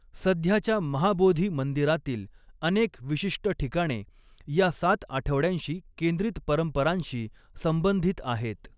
सध्याच्या महाबोधी मंदिरातील अनेक विशिष्ट ठिकाणे या सात आठवड्यांशी केंद्रित परंपरांशी संबंधित आहेत.